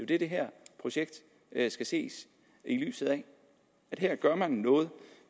det det her projekt skal ses i lyset af her gør man noget